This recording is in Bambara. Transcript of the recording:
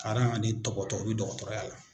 Karan ani dɔgɔtɔ o bi dɔgɔtɔrɔya la.